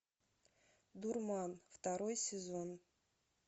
дурман второй сезон